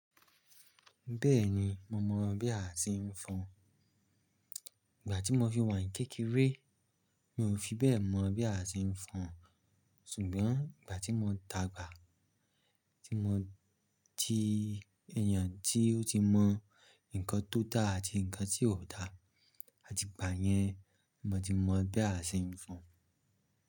Bẹ́ẹ̀ni, mo mọ̀ bí a ṣe ń fọn. Ìgbà tí mo fi wà ní kékeré, mi ò fi bẹ́ẹ̀ mọ̀ bí a ṣe ń fọn. Ṣùgbọ́n ìgbà tí mo dàgbà, tí mo ti èèyàn tí ó ti mọ nǹkan tó dá àti nǹkan tí ò dá, àtì gbàyẹn mo ti mọ̀ bí a ṣe ń fọn.